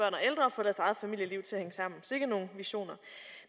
få deres eget familieliv til at hænge sammen sikke nogle visioner